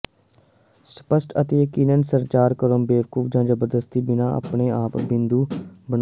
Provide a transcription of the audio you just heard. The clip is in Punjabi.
ਸਪਸ਼ਟ ਅਤੇ ਯਕੀਨਨ ਸੰਚਾਰ ਕਰੋ ਬੇਵਕੂਫ ਜਾਂ ਜ਼ਬਰਦਸਤੀ ਬਿਨਾ ਆਪਣੇ ਬਿੰਦੂ ਬਣਾਉ